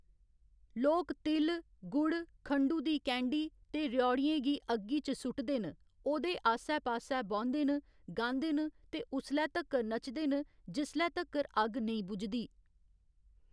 लोक तिल, गुड़, खंडु दी कैंडी ते र्‌यौड़ियें गी अग्गी च सुटदे न, ओह्‌‌‌दे आस्सै पास्सै बौंह्‌‌‌दे न, गांदे न ते उसलै तक्कर नचदे न जिसलै तक्कर अग्ग नेईं बुझदी।